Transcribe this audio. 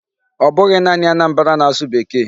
Ọ bụghị naanị Anambra na-asụ Bekee.